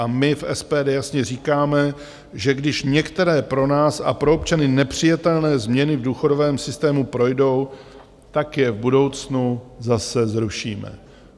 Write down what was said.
A my v SPD jasně říkáme, že když některé pro nás a pro občany nepřijatelné změny v důchodovém systému projdou, tak je v budoucnu zase zrušíme.